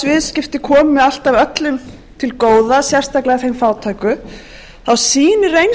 viðskipti komi alltaf öllum til góða sérstaklega þeim fátæku þá sýnir